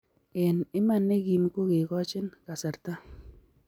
eng iman ne gim ko kekachin kasarta